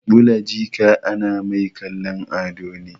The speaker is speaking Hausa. Ɓula jika ana mai kallon ado ne